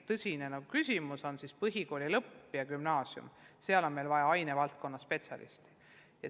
Tõsine küsimus tekib põhikooli lõpus ja gümnaasiumis, kus on vaja ainevaldkonna spetsialisti.